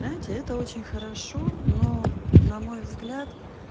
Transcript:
знаете это очень хорошо но на мой взгляд